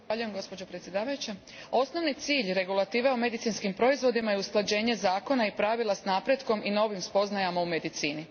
Gospođo predsjedavajuća, osnovni cilj regulative o medicinskim proizvodima je usklađenje zakona i pravila s napretkom i novim spoznajama u medicini.